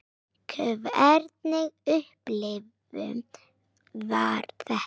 Hvernig upplifun var þetta?